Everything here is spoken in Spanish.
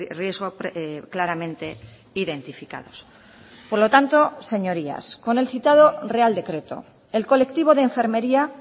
riesgo claramente identificados por lo tanto señorías con el citado real decreto el colectivo d enfermería